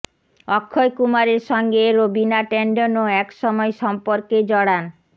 অক্ষয় কুমারের সঙ্গে রবিনা ট্যান্ডনও এক সময় সম্পর্কে জড়ান